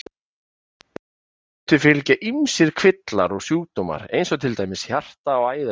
Offitu fylgja ýmsir kvillar og sjúkdómar eins og til dæmis hjarta- og æðasjúkdómar.